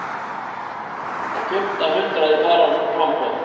Á fimmta hundrað í framboði